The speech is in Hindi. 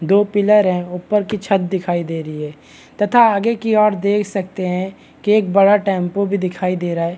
दो पिलर है ऊपर की छत दिखाई दे रही है तथा आगे की ओर देख सकते है की एक बड़ा टेम्पू भी दिखाई दे रहा है।